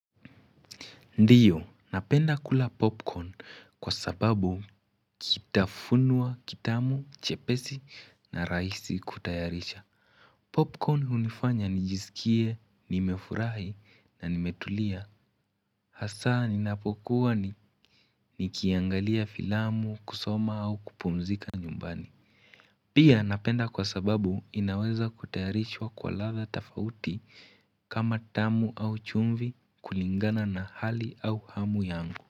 Ndiyo, napenda kula popcorn kwa sababu kitafunwa kitamu, chepesi na raisi kutayarisha. Popcorn hunifanya nijisikie, nimefurahi na nimetulia. Hasa ninapokuwa ni nikiangalia filamu, kusoma au kupumzika nyumbani. Pia napenda kwa sababu inaweza kutayarishwa kwa latha tofauti kama tamu au chumvi kulingana na hali au hamu yangu.